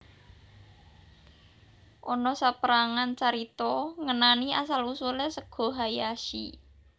Ana saperangan carita ngenani asal usule sega hayashi